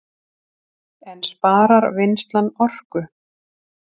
En sparar vinnslan orku